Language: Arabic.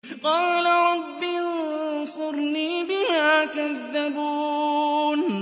قَالَ رَبِّ انصُرْنِي بِمَا كَذَّبُونِ